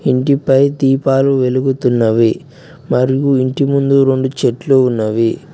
ఇంటిపై దీపాలు వెలుగుతున్నవి మరియు ఇంటి ముందు రెండు చెట్లు ఉన్నవి.